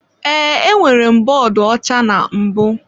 Ee, enwere m bọọdụ ọcha na mbụ.